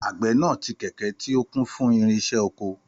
Àgbẹ̀ náà tì kẹ̀kẹ́ tí ó kún fún irinṣẹ́ oko.